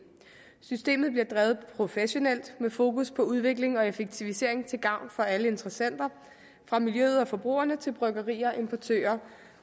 systemet bliver drevet professionelt med fokus på udvikling og effektivisering til gavn for alle interessenter fra miljøet og forbrugerne til bryggerier importører